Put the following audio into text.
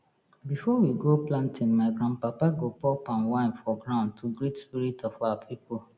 before we go planting my grandpapa go pour palm wine for ground to greet spirit of our people